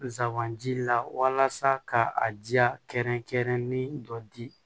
Zanbanji la walasa ka a kɛrɛnkɛrɛnni dɔ di